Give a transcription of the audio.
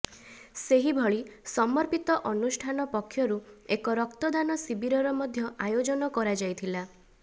ସେହିଭଳି ସମର୍ପିତ ଅନୁଷ୍ଠାନ ପକ୍ଷରୁ ଏକ ରକ୍ତଦାନ ଶିବିରର ମଧ୍ୟ ଆୟୋଜନ କରାଯାଇଥିଲା